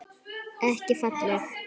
Ekki falleg.